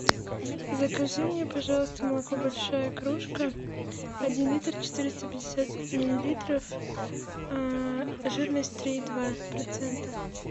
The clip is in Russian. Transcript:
закажи мне пожалуйста молоко большая кружка один литр четыреста пятьдесят миллилитров жирность три и два процента